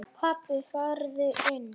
Pabbi farðu inn!